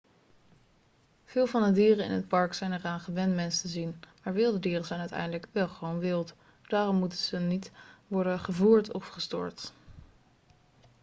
veel van de dieren in het park zijn eraan gewend mensen te zien maar wilde dieren zijn uiteindelijk wel gewoon wild daarom moeten ze niet worden gevoerd of gestoord